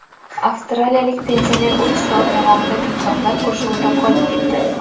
Avstraliyalik pensioner uch soat davomida timsohlar qurshovida qolib ketdi.